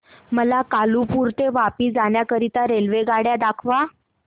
मला कालुपुर ते वापी जाण्या करीता रेल्वेगाड्या दाखवा